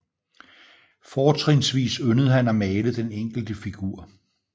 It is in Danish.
Fortrinsvis yndede han at male den enkelte figur